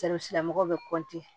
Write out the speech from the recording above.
tigilamɔgɔw bɛ